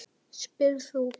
spyrð þú.